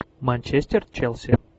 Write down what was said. манчестер челси